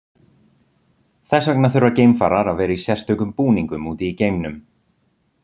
Þess vegna þurfa geimfarar að vera í sérstökum búningum úti í geimnum.